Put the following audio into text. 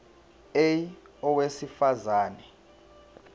a owesifaz ane